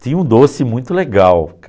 Tinha um doce muito legal.